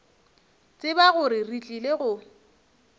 tseba gore re tlile go